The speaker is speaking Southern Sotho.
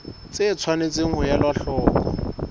tse tshwanetseng ho elwa hloko